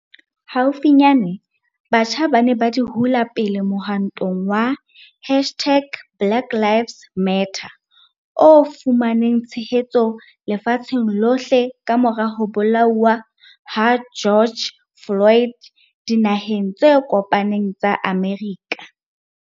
Haufinyane, batjha ba ne ba di hula pele mohwantong wa hashtag-BlackLivesMatter o fumaneng tshehetso lefatsheng lohle kamora ho bolauwa ha George Floyd Dinaheng tse Kopaneng tsa Amerika.